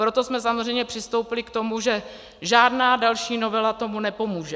Proto jsme samozřejmě přistoupili k tomu, že žádná další novela tomu nepomůže.